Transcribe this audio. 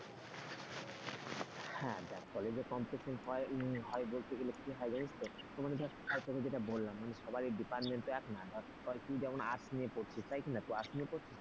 হ্যাঁ দেখ কলেজে competition হয় বলতে গেলে কি হয় জানিস তো মনে ধর আমি যেটা বললাম সবার department এক না ধর তুই arts নিয়ে পড়ছিস তো তাই কিনা তো আর্টস নিয়ে পড়ছিস ,